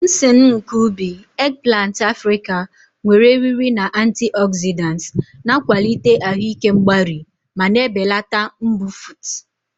Nsen nke ubi, eggplant Africa, nwere eriri na antioxidants, na-akwalite ahụ ike mgbari ma na-ebelata mbufụt.